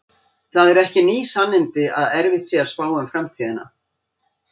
Það eru ekki ný sannindi að erfitt sé að spá um framtíðina.